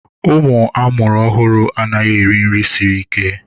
Ụmụ ọhụrụ anaghị eri nri siri ike.